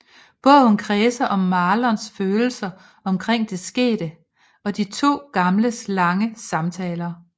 Bogen kredser om Marlons følelser omkring det skete og de to gamles lange samtaler